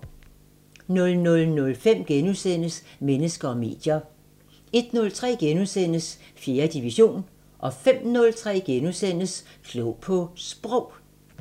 00:05: Mennesker og medier * 01:03: 4. division * 05:03: Klog på Sprog *